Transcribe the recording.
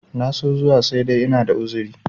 na so zuwa sai dai ina da uzuri